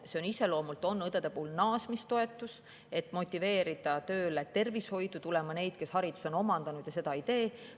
See õdede puhul on iseloomult naasmistoetus, et motiveerida tulema tervishoidu tööle neid, kes selle hariduse on omandanud, aga.